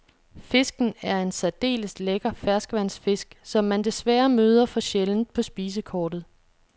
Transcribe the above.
Fisken er en særdeles lækker ferskvandsfisk, som man desværre møder for sjældent på spisekortet.